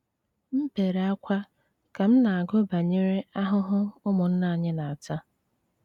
M bere ákwá ka m na-agụ banyere ahụhụ ụmụnna anyị na-ata.